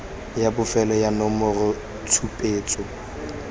ya bofelo ya nomoro tshupetso